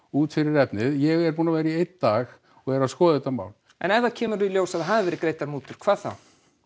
út fyrir efnið ég er búinn að vera í einn dag og er að skoða þetta mál en ef það kemur í ljós að það hafi verið greiddar mútur hvað þá